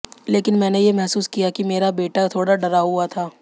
लेकिन मैंने ये महसूस किया कि मेरा बेटा थोड़ा डरा हुआ था